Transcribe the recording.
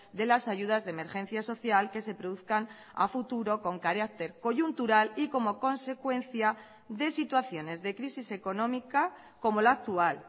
de las ayudas de emergencia social que se produzcan a futuro con carácter coyuntural y como consecuencia de situaciones de crisis económica como la actual